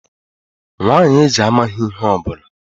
Nwanyị eze amaghị ihe ọ bụla